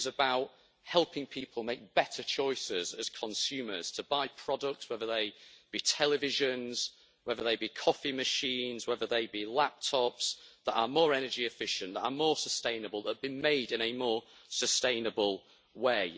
It is about helping people make better choices as consumers to buy products, whether they be televisions, whether they be coffee machines, whether they be laptops, that are more energy efficient, that are more sustainable, that been made in a more sustainable way.